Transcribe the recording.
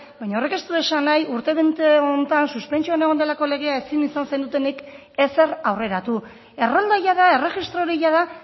baina horrek ez du esan nahi urte bete honetan suspentsioan egon delako legea ezin izan zenutenik ezer aurreratu errolda jada erregistro hori jada